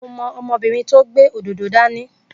Mo mọ ọmọbìnrin tó gbé òdòdó dání